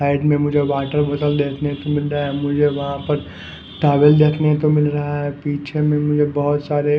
side में मुझे watermelon देखने को मिलरा है मुझे वहा पर टावेल देखने को मिल रहा है पीछे में मुझे बोहोत सारे--